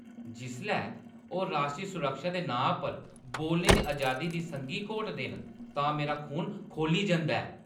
जिसलै ओह् राश्ट्री सुरक्षा दे नांऽ पर बोलने दी अजादी दी संघी घोटदे न तां मेरा खून खौली जंदा ऐ।